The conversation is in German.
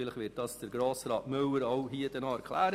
Möglicherweise wird dies Grossrat Moritz Müller noch erklären.